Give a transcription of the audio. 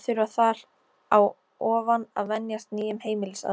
Og að þurfa þar á ofan að venjast nýjum heimilisaðstæðum.